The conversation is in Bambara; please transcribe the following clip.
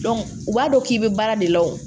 u b'a dɔn k'i bɛ baara de la wo